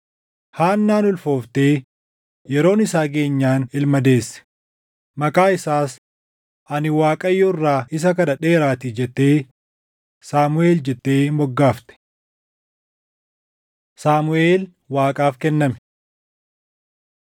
Haannaan ulfooftee yeroon isaa geenyaan ilma deesse. Maqaa isaas, “Ani Waaqayyo irraa isa kadhadheeraatii” jettee Saamuʼeel jettee moggaafte. Saamuʼeel Waaqaaf kenname